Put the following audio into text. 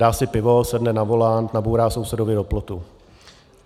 Dá si pivo, sedne za volant, nabourá sousedovi do plotu.